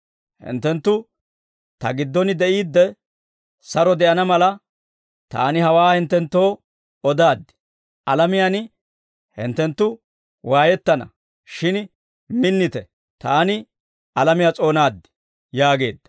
Hinttenttu Ta giddon de'iidde, saro de'ana mala, Taani hawaa hinttenttoo odaaddi. Alamiyaan hinttenttu waayettana. Shin minnite; Taani alamiyaa s'oonaad» yaageedda.